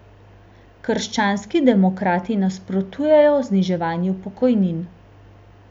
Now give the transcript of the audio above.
Krščanski demokrati nasprotujemo zniževanju pokojnin.